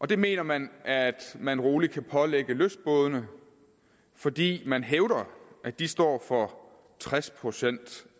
det mener man at man roligt kan pålægge lystbådene fordi man hævder at de står for tres procent